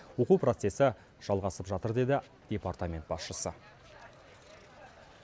оқу процесі жалғасып жатыр деді департамент басшысы